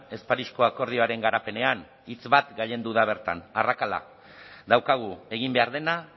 ez parisko akordioaren garapenean hitz bat gailendu da bertan arrakala daukagu egin behar dena